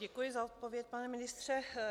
Děkuji za odpověď, pane ministře.